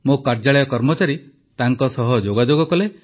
ମୋ କାର୍ଯ୍ୟାଳୟ କର୍ମଚାରୀ ତାଙ୍କ ସହ ଯୋଗାଯୋଗ କଲେ